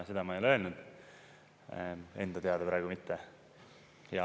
Seda ma ei ole öelnud, enda teada praegu mitte.